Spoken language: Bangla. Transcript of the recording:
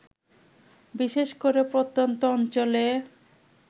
বিশেষ করে প্রত্যন্ত অঞ্চলে